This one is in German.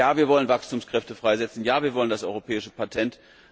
Wir wollen Wachstumskräfte freisetzen, wir wollen das Europäische Patent.